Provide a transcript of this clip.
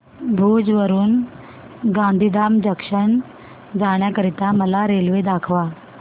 भुज वरून गांधीधाम जंक्शन जाण्या करीता मला रेल्वे दाखवा